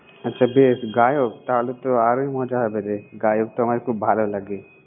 আচ্ছা, বেশ গায়ক! তাহলে তো আরই মজা হবে রে, গায়ক তো আমার খুব ভালো লাগে।